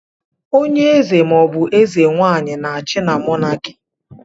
Onye eze ma ọ bụ eze nwaanyị na-achị na Mọnaki.